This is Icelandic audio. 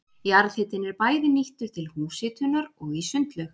Jarðhitinn er bæði nýttur til húshitunar og í sundlaug.